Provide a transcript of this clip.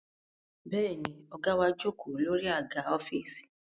Bẹ́ẹ̀ ni, ọ̀gá wa jókòó lórí àga ọ́fíìsì